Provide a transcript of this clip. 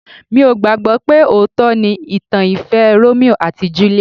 Mi ò gbàgbọ́ pé òótọ́ ni ìtàn ìfẹ́ Romeo and Juliet